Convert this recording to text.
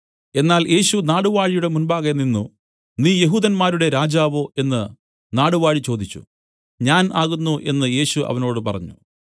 എന്നാൽ യേശു നാടുവാഴിയുടെ മുമ്പാകെ നിന്നു നീ യെഹൂദന്മാരുടെ രാജാവോ എന്നു നാടുവാഴി ചോദിച്ചു ഞാൻ ആകുന്നു എന്നു യേശു അവനോട് പറഞ്ഞു